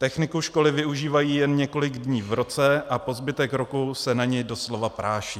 Techniku školy využívají jen několik dní v roce a po zbytek roku se na ni doslova práší.